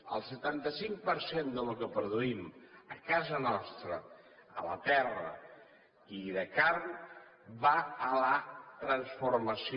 el setanta cinc per cent del que produïm a casa nostra a la terra i de carn va a la transformació